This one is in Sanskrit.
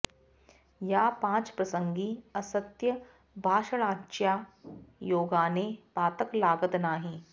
या पांच प्रसंगी असत्य भाषणाच्या योगाने पातक लागत नाही